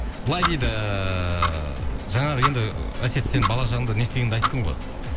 былай дейді жаңағы енді әсет сен балалық шағыңда не істегеніңді айттың ғой